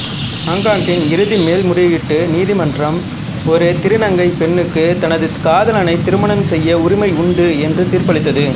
ஹாங்காங்கின் இறுதி மேல்முறையீட்டு நீதிமன்றம் ஒரு திருநங்கை பெண்ணுக்கு தனது காதலனை திருமணம் செய்ய உரிமை உண்டு என்று தீர்ப்பளித்தது